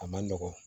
A man nɔgɔn